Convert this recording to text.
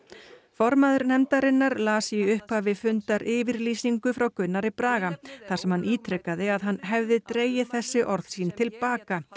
formaður nefndarinnar las í upphafi fundar yfirlýsingu frá Gunnari Braga þar sem hann ítrekaði að hann hefði dregið þessi orð sín til baka